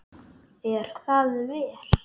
Er það vel!